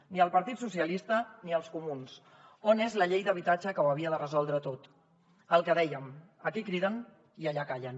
ni el partit socialista ni els comuns on és la llei d’habitatge que ho havia de resoldre tot el que dèiem aquí criden i allà callen